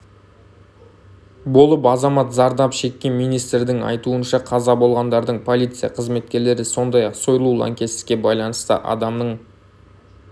болып азамат зардап шеккен министрдің айтуынша қаза болғандардың полиция қызметкерлері сондай-ақ сойлу лаңкестікке байланысты адамның